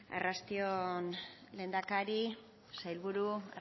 arrasti on lehendakari sailburu